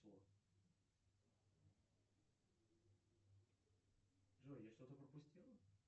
джой я что то пропустил